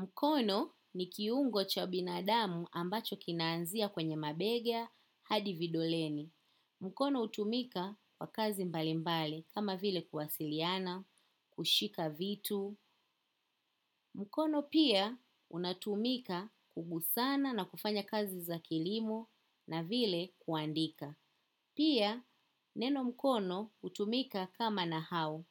Mkono ni kiungo cha binadamu ambacho kinaanzia kwenye mabega hadi vidoleni. Mkono utumika kwa kazi mbalimbali kama vile kuwasiliana, kushika vitu. Mkono pia unatumika kugusana na kufanya kazi za kilimo na vile kuandika. Pia neno mkono utumika kama nahau.